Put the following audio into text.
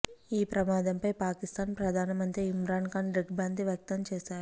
ఈ ప్రమాదంపై పాకిస్తాన్ ప్రధానమంత్రి ఇమ్రాన్ ఖాన్ దిగ్భ్రాంతి వ్యక్తం చేశారు